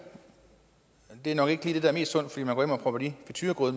det er nok ikke lige det der er mest sundt fordi